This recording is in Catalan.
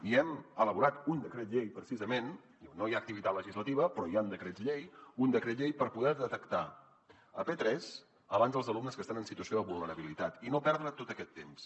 i hem elaborat un decret llei precisament diu no hi ha activitat legislativa però hi han decrets llei per poder detectar a p3 abans els alumnes que estan en situació de vulnerabilitat i no perdre tot aquest temps